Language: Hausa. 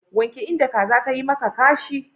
Wanke inda kaza tayi maka kashi.